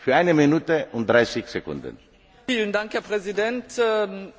Herr Präsident, liebe Kolleginnen und Kollegen!